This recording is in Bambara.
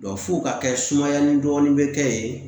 f'u ka kɛ sumayali dɔɔni bɛ kɛ yen